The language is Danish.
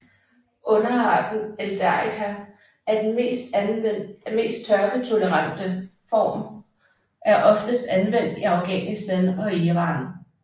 Underarten eldarica er den mest tørketolerante form er oftest anvendt i Afghanistan og Iran